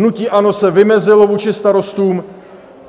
Hnutí ANO se vymezilo vůči starostům